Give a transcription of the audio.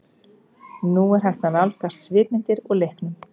Nú er hægt að nálgast svipmyndir úr leiknum.